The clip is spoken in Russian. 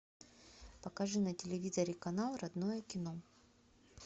покажи на телевизоре канал родное кино